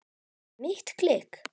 Mitt klikk?